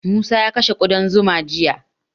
Musa ya kashe ƙudan zuma jiya.